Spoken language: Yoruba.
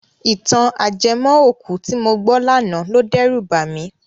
Ìtàn ajẹmọ́-òkú tí mo gbọ́ lánàá lo dẹ́rù bà mí.